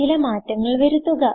ചില മാറ്റങ്ങൾ വരുത്തുക